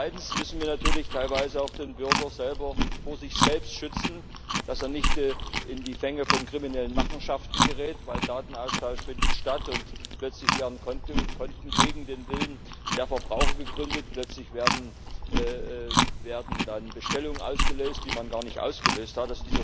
Zweitens müssen wir natürlich teilweise auch den Bürger vor sich selbst schützen, damit er nicht in die Fänge von kriminellen Machenschaften gerät. Denn Datenaustausch findet statt, und plötzlich werden Konten gegen den Willen der Verbraucher gegründet, plötzlich werden dann Bestellungen ausgelöst, die man gar nicht ausgelöst hat.